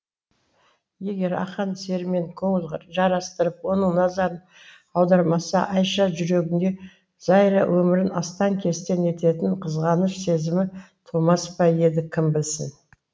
егер ақан серімен көңіл жарастырып оның назарын аудармаса айша жүрегінде зайра өмірін астаң кестең ететін қызғаныш сезімі тумас па еді кім білсін